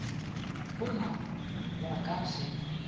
go na ba ka se